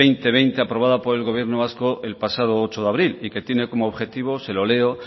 dos mil veinte aprobada por el gobierno vasco el pasado ocho de abril y que tiene como objetivo se lo leo